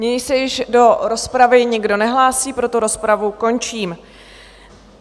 Nyní se již do rozpravy nikdo nehlásí, proto rozpravu končím.